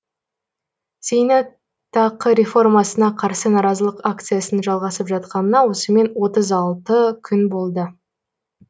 зейнетақы реформасына қарсы наразылық акциясының жалғасып жатқанына осымен отыз алты күн болды